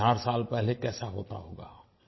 एक हज़ार साल पहले कैसा होता होगा